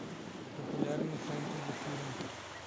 популярный фэнтези фильм